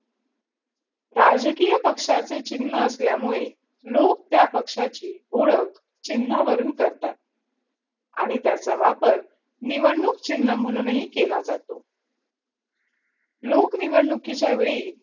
राजकीय पक्षाचे चिन्ह असल्यामुळे लोक त्या पक्षाची ओळख चिन्हावरून करतात आणि त्याचा वापर निवडणूक चिन्ह म्हणूनही केला जातो लोक निवडणुकीच्या वेळी